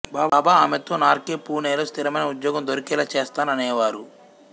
బాబా ఆమెతో నార్కే పూణేలో స్ధిరమైన ఉద్యోగం దొరికేలా చేస్తాను అనేవారు